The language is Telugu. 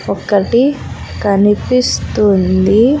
ఒకటి కనిపిస్తుంది.